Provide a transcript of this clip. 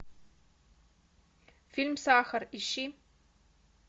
фильм сахар ищи